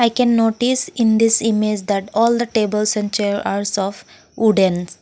we can notice in this image that all the tables and chair are soft woodens.